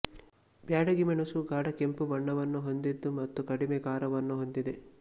ಬ್ಯಾಡಗಿ ಮೆಣಸು ಗಾಢ ಕೆಂಪು ಬಣ್ಣವನ್ನು ಹೊಂದಿದೆ ಮತ್ತು ಕಡಿಮೆ ಖಾರವನ್ನು ಹೊಂದಿದೆ